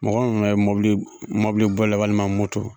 Mɔgɔ mi be mɔbili boli la walima moto